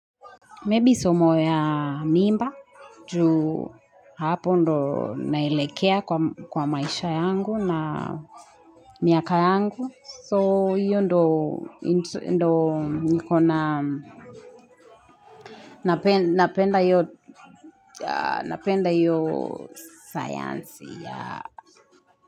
Maybe somo ya mimba juu hapo ndo naelekea kwa maisha yangu na miaka yangu. So hiyo ndo napenda hoyo sayansi ya.